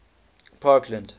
parkland